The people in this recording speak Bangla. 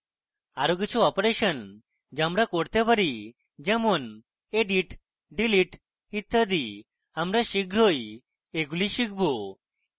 আরো কিছু অপারেশন যা আমরা করতে পারি যেমন edit delete ইত্যাদি আমরা শীঘ্রই এগুলি শিখব